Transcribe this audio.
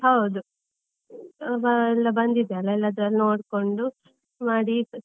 ಹೌದು, ಎಲ್ಲಾ ಬಂದಿದೆ, ಎಲ್ಲ ಅದರಲ್ಲಿ ನೋಡ್ಕೊಂಡು ಮಾಡಿ .